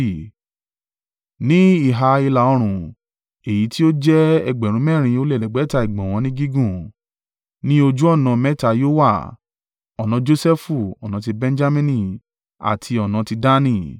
Ní ìhà ìlà-oòrùn, èyí tí ó jẹ́ ẹgbẹ̀rún mẹ́rin ó lé ẹ̀ẹ́dẹ́gbẹ̀ta (4,500) ìgbọ̀nwọ́ ní gígùn, ni ojú ọ̀nà mẹ́ta yóò wà: ọ̀nà Josẹfu, ọ̀nà tí Benjamini àti ọ̀nà tí Dani.